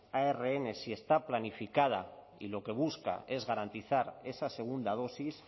arn si está planificada y lo que busca es garantizar esa segunda dosis